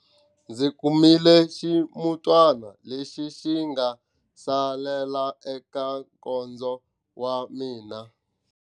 Ndzi kumile ximutwana lexi xi nga salela eka nkondzo wa mina.